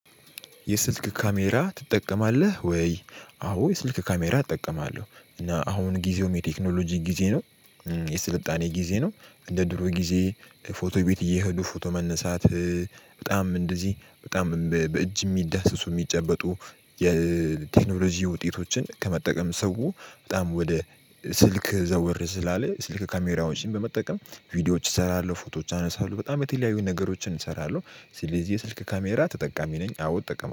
የስልክ ካሜራ ትጠቀማለህ ወይ? አዎ የስልክ ካሜራ እጠቀማለሁ እና አሁን ጊዜው የቴክኖሎጂ ጊዜ ነው። የስልጣኔ ጊዜ ነው እንደ ድሮ ጊዜ ፎቶ ቤት እየሄዱ ፎቶ መነሳት። በጣም እንደዚህ በጣም በእጅ የሚዳስሱ የሚጨበጡ የቴክኖሎጂ ውጤቶችን ከመጠቀም ሰው በጣም ወደ ስልክ ዘወር ስላለ ስልክ ካሜራዎችን በመጠቀም ቪዲዮዎች እሰራለሁ ፎቶዎች አነሳለሁ። በጣም የተለያዩ ነገሮችን እሰራለሁ ስለዚህ የስልክ ካሜራ ተጠቃሚ ነኝ። አዎ እጠቀማለው